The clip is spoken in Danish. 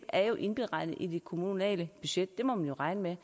er indregnet i det kommunale budget det må man jo regne med